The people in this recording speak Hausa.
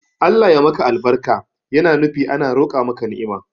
Allah ya maka albarka yana nufi ana roqa maka ni'ima